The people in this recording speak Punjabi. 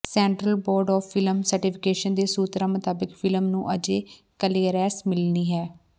central board of film certification ਦੇ ਸੂਤਰਾਂ ਮੁਤਾਬਕ ਫ਼ਿਲਮ ਨੂੰ ਅਜੇ ਕਲੀਅਰੈਂਸ ਮਿਲਣੀ ਹੈ